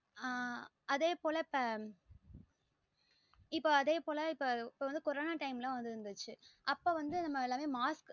ஆஹ் அதே போல இப்ப